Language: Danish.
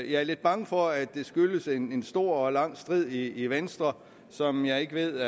jeg er lidt bange for at det skyldes en stor og lang strid i venstre som jeg ikke ved